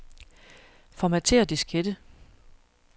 Formatér diskette.